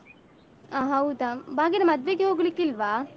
ಹ ಹೌದಾ. ಭಾಗ್ಯನ ಮದ್ವೆಗೆ ಹೋಗ್ಲಿಕ್ಕಿಲ್ವಾ?